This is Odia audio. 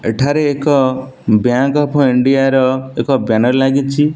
ଏଠାରେ ଏକ ବ୍ୟାଙ୍କ୍ ଅଫ ଇଣ୍ଡିଆ ର ଏକ ବ୍ୟାନର୍ ଲାଗିଚି।